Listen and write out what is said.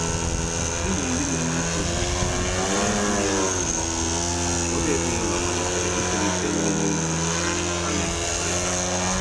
N'ịbụ ndị na-enwe nchegbu um banyere ịrị elu okpomọkụ, ụfọdụ ezinụlọ malitere itolite nri n'ubi um a na-ekekọrịta.